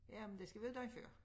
Jamen det skal være dagen før